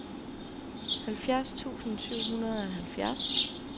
halvfjerds tusind syv hundrede og halvfjerds